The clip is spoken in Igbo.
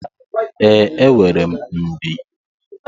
Ee, enwere m mbie.